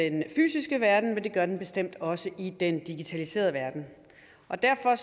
i den fysiske verden men det gør den bestemt også i den digitaliserede verden derfor